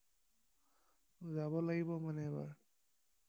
যাব লাগিব মানে এবাৰ